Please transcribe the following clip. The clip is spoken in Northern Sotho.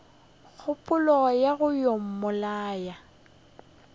kgopolo ya go yo mmolaya